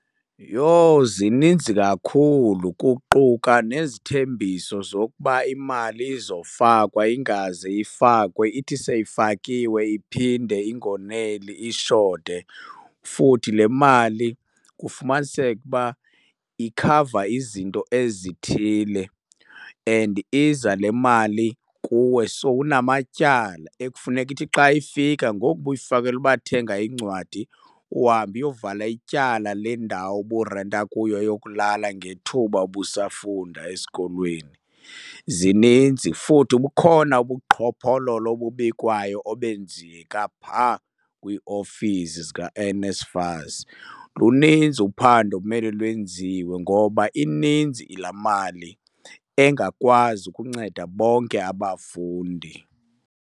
Yho, zininzi kakhulu!. Kuquka nezithembiso zokuba imali izofakwa ingaze ifakwe, ithi seyifakiwe iphinde ingoneli ishote. Futhi le mali kufumaniseke uba ikhava izinto ezithile and iza le mali kuwe sowunamatyala ekufuneka ithi xa ifika ngoku ubuyifakelwa uba thenga iincwadi, uhambe uyovala ityala lendawo oburenta kuyo yokulala ngethuba ubusafunda esikolweni. Zininzi, futhi bukhona ubuqhophololo obubikwayo obenzeka phaa kwiiofisi zikaNSFAS. Luninzi uphando ekumele lwenziwe ngoba ininzi laa mali engakwazi ukunceda bonke abafundi.